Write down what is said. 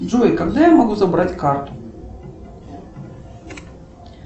джой когда я могу забрать карту